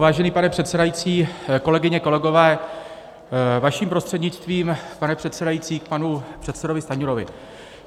Vážený pane předsedající, kolegyně, kolegové, vaším prostřednictvím, pane předsedající, k panu předsedovi Stanjurovi.